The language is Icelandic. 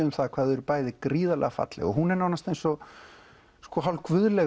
um það hvað þau eru falleg hún er nánast eins og